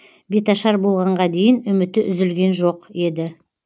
бетаршар болғанға дейін үміті үзілген жоқ еді